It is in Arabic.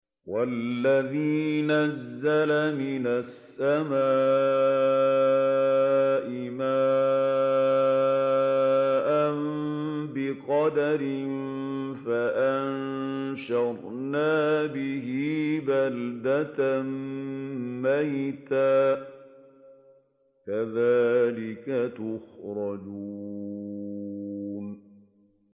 وَالَّذِي نَزَّلَ مِنَ السَّمَاءِ مَاءً بِقَدَرٍ فَأَنشَرْنَا بِهِ بَلْدَةً مَّيْتًا ۚ كَذَٰلِكَ تُخْرَجُونَ